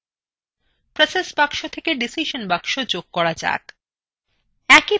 process box থেকে decision box যোগ from যাক